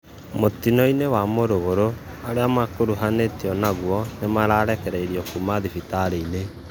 Mũtĩno wa muruguru: arĩa marakuruhanĩtĩo nagũo nĩmarekereĩrĩo kũma thĩbĩtarĩ